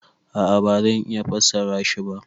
A'a ba zan iya fassara shi ba.